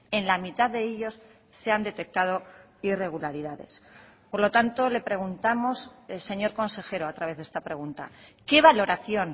en la mitad de ellos se han detectado irregularidades por lo tanto le preguntamos el señor consejero a través de esta pregunta qué valoración